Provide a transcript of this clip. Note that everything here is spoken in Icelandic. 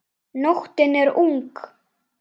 Nóttin er ung